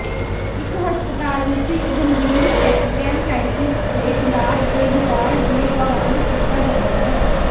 ਇੱਕ ਹਸਪਤਾਲ ਵਿੱਚ ਇੱਕ ਗੰਭੀਰ ਪੈਨਕੈਨਟਾਇਟਿਸ ਦੇ ਇਲਾਜ ਦੇ ਵਿਗਾੜ ਦੇ ਦੌਰਾਨ ਕੀਤਾ ਜਾਂਦਾ ਹੈ